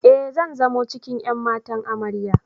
E, zan zamo cikin ƴan matan Amarya.